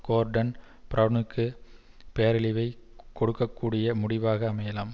கோர்டன் பிரெளனுக்கு பேரழிவைக் கொடுக்க கூடிய முடிவாக அமையலாம்